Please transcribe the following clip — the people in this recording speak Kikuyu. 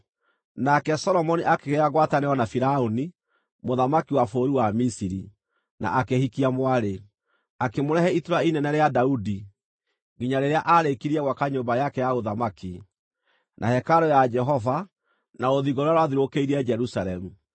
Nake Solomoni akĩgĩa ngwatanĩro na Firaũni, mũthamaki wa bũrũri wa Misiri, na akĩhikia mwarĩ. Akĩmũrehe itũũra inene rĩa Daudi, nginya rĩrĩa aarĩkirie gwaka nyũmba yake ya ũthamaki, na hekarũ ya Jehova, na rũthingo rũrĩa rwathiũrũrũkĩirie Jerusalemu.